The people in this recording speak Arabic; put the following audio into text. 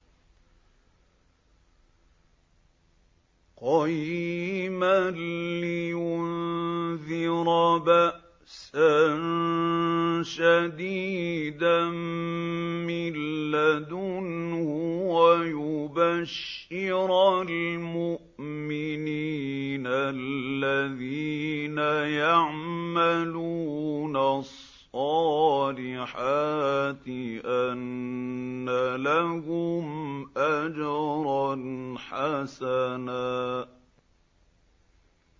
قَيِّمًا لِّيُنذِرَ بَأْسًا شَدِيدًا مِّن لَّدُنْهُ وَيُبَشِّرَ الْمُؤْمِنِينَ الَّذِينَ يَعْمَلُونَ الصَّالِحَاتِ أَنَّ لَهُمْ أَجْرًا حَسَنًا